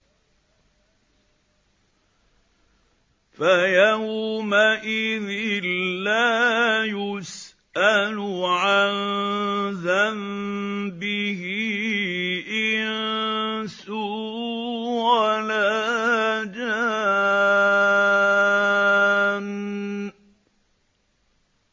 فَيَوْمَئِذٍ لَّا يُسْأَلُ عَن ذَنبِهِ إِنسٌ وَلَا جَانٌّ